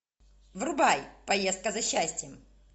врубай поездка за счастьем